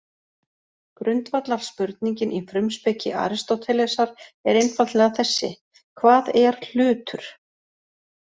Grundvallarspurningin í frumspeki Aristótelesar er einfaldlega þessi: Hvað er hlutur?